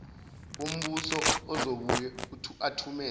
wombuso ozobuye athumele